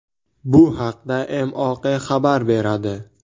Bu haqda MOQ xabar beradi .